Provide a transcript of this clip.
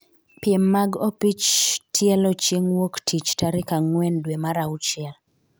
piem mag opich tielo chieng' wuok tich tarik ang'wen dwe mar auchiel